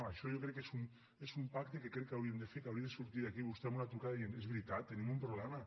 això jo crec que és un pacte que crec que hauríem de fer que hauria de sortir d’aquí vostè amb una trucada dient és veritat tenim un problema